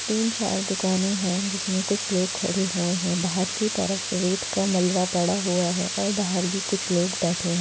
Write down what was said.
तीन चार दुकाने है जिसमे कुछ लोग खड़े हुए है। बाहर की तरफ रेत का मलवा पड़ा हुआ है और बाहर भी कुछ लोग बैठे हुए है।